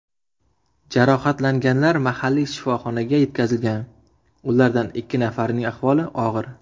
Jarohatlanganlar mahalliy shifoxonaga yetkazilgan, ulardan ikki nafarining ahvoli og‘ir.